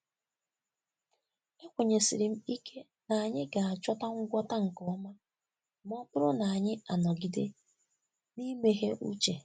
Ekwenyesiri m ike na anyị ga-achọta ngwọta nke ọma ma ọ bụrụ na anyị anọgide n'imeghe uche.